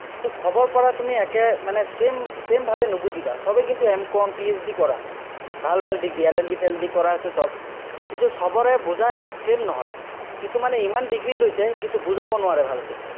তো সবৰ পৰা তুমি একে মানে same same ভাৱে নুবুজিবা, চবেই কিন্তু, M. COMPHD কৰা। ভাল ভাল degreeLL. B. চেলেলবি কৰা আছে চব। কিন্তু, চবৰে বুজা same নহয়। কিছুমানে ইমান degree লৈছে, কিন্তু, বুজাব নোৱাৰে, ভালকে।